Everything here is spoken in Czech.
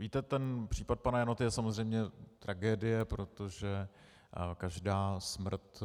Víte, ten případ pana Janoty je samozřejmě tragédie, protože každá smrt